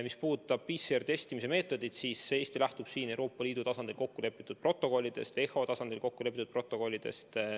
Mis puudutab PCR-meetodit, siis Eesti lähtub siin Euroopa Liidu tasandil kokku lepitud protokollidest, WHO tasandil kokku lepitud protokollidest.